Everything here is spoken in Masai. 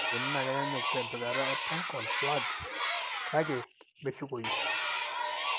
Ore enaikoni na kenyanyuk tempikata e punctal plugs, kake meshukoyu.